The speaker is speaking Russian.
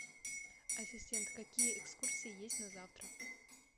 ассистент какие экскурсии есть на завтра